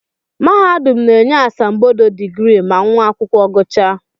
Mahadum na-enye asambodo digrii ma nwa akwụkwọ gụchaa